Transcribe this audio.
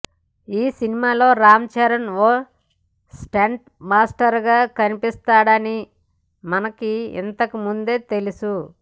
ఈ సినిమాలో రామ్ చరణ్ ఓ స్టంట్ మాస్టర్గా కనిపిస్తాడని మనకి ఇంతకుముందే తెలుసు